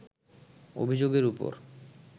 অভিযোগের ওপর